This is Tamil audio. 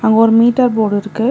அங்க ஒரு மீட்டர் போர்டு இருக்கு.